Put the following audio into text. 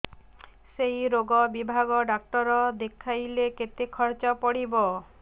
ସେଇ ରୋଗ ବିଭାଗ ଡ଼ାକ୍ତର ଦେଖେଇଲେ କେତେ ଖର୍ଚ୍ଚ ପଡିବ